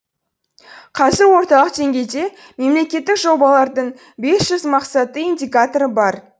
қазір орталық деңгейде мемлекеттік жобалардың бес жүз мақсатты индикаторы бар